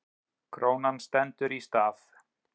Krónan stendur í stað